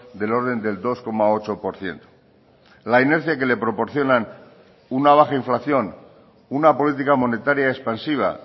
del orden del dos coma ocho por ciento la inercia que le proporcionan una baja inflación una política monetaria expansiva